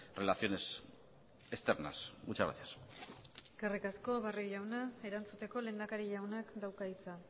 relaciones externas muchas gracias eskerrik asko barrio jauna erantzuteko lehendakari jaunak dauka hitza